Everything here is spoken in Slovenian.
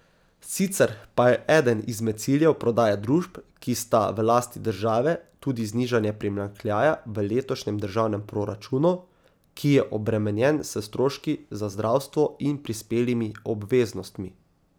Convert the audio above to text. Sicer pa je eden izmed ciljev prodaje družb, ki sta v lasti države, tudi znižanje primanjkljaja v letošnjem državnem proračunu, ki je obremenjen s stroški za zdravstvo in prispelimi obveznostmi.